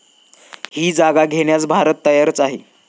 ही जागा घेण्यास भारत तयारच आहे.